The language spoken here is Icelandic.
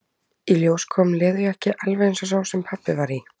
Í ljós kom leðurjakki, alveg eins og sá sem pabbi var í.